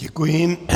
Děkuji.